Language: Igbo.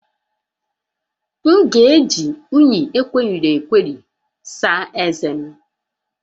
M ga-eji unyi egweriri egweri saa ezé m